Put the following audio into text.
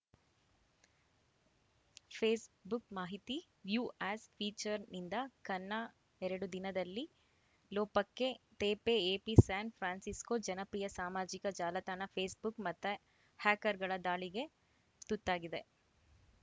Facebook ಮಾಹಿತಿ view as ಫೀಚರ್‌ನಿಂದ ಕನ್ನ ಎರಡು ದಿನದಲ್ಲಿ ಲೋಪಕ್ಕೆ ತೇಪೆ ಎಪಿ ಸ್ಯಾನ್‌ಫ್ರಾನ್ಸಿಸ್ಕೋ ಜನಪ್ರಿಯ ಸಾಮಾಜಿಕ ಜಾಲತಾಣ ಫೇಸ್‌ಬುಕ್‌ ಮತ್ತೆ ಹ್ಯಾಕರ್‌ಗಳ ದಾಳಿಗೆ ತುತ್ತಾಗಿದೆ